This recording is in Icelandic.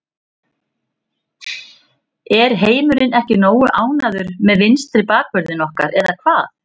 Er heimurinn ekki nógu ánægður með vinstri bakvörðinn okkar eða hvað?